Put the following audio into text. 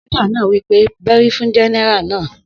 Sójà náà wí pé bẹ́rí fún Gẹ́nẹ́rà náà!